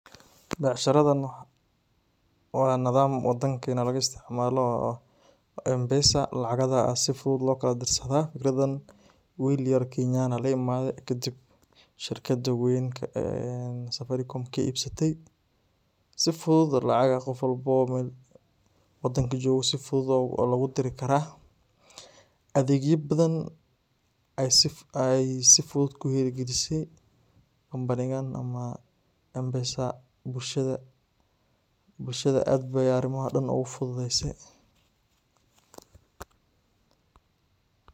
Becshiraadan waa nadaam wadaankeena laguu isticmaalo oo aah mpesa lacagaada sii fuduud loo kalaa dirsaado. fikradaan wiil yaar kenyan laa imaade kaadib shirkaada weynka een safaricom kaa ibsaate sii fuduud lacag qof walbo mel waadanka joogo sii fuduud loguu dirii karaa. adegyaa baadan ayeey sii fuduud kuu hiirgalise kampaniiyal ama mpesa bulshaada bulshaada aad beey arimaaha dhaan ogu fududeeyse.